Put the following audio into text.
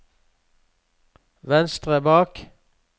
venstre bak